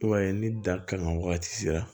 I b'a ye ni da kan wagati sera